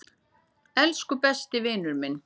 Elsku besti vinur minn.